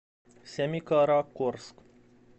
семикаракорск